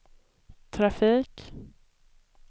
trafik